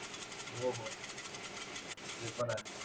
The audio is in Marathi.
हो हो ते पण ए